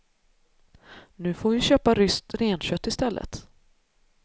Nu får vi köpa ryskt renkött i stället.